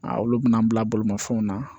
olu bɛna an bila bolimafɛnw na